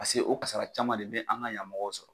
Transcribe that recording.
Paseke o kasara caman de be an ka yanmɔgɔw sɔrɔ